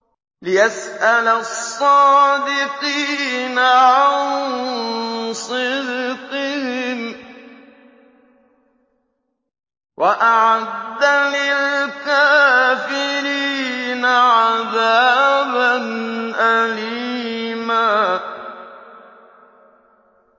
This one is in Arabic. لِّيَسْأَلَ الصَّادِقِينَ عَن صِدْقِهِمْ ۚ وَأَعَدَّ لِلْكَافِرِينَ عَذَابًا أَلِيمًا